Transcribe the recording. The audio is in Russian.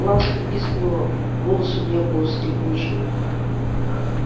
ласка пискнула голос у нее был скрипучий